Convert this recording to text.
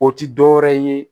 O ti dɔwɛrɛ ye